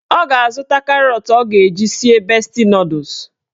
Ọ ga-azụta karọt ọ ga-eji sie besti nọdụs